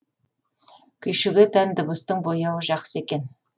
күйшіге тән дыбыстың бояуы жақсы екен